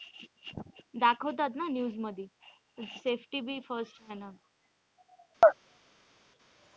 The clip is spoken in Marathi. दाखवतात ना news मध्ये safety बी